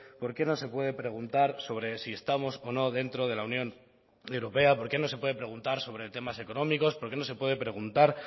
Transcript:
por qué no se puede preguntar sobre si estamos o no dentro de la unión europea por qué no se puede preguntar sobre temas económicos por qué no se puede preguntar